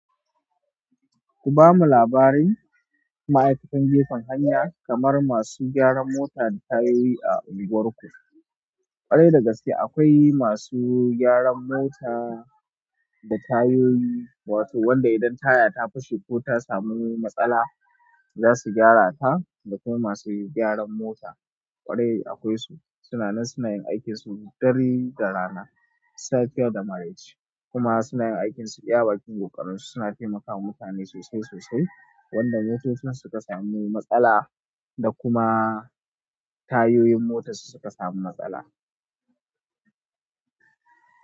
Ku ba mu labarin ma'aikatan gefen hanya kamar masu gyaran mota da tayoyi a unguwarku. Gwarai da gaske akwai masu gyaran mota da tayyoyi wato wanda indan taya ta fashe ko ta samu matsala zasu gyarata da kuma masu gyaran mota, kwarai akwai su. Su na nan suna yin aikinsu dare da rana, safiya da maraice kuma suna yin aikinsu, iya bakin gokarin su suna taimakawa mutane sosai sosai. Wanda motocin su suka samu matsala, da kuma tayoyin motar su suka samu matsala.